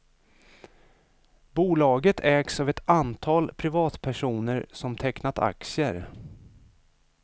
Bolaget ägs av ett antal privatpersoner som tecknat aktier.